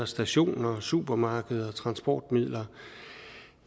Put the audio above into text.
stationer i supermarkeder og i transportmidler